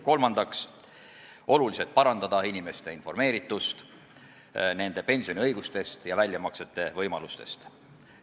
Kolmandaks soovime oluliselt parandada inimeste informeeritust nende pensioniõigustest ja väljamaksete võimalustest.